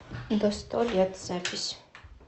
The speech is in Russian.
до сто лет запись